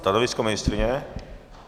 Stanovisko ministryně?